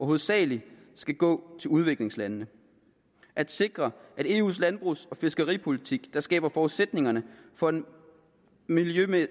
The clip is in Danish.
hovedsagelig skal gå til udviklingslande at sikre en eu landbrugs og fiskeripolitik der skaber forudsætningerne for en miljømæssig